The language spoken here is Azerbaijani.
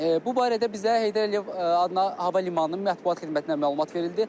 Bu barədə bizə Heydər Əliyev adına hava limanının mətbuat xidmətinə məlumat verildi.